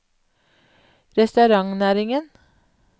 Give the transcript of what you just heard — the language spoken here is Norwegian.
restaurantnæringen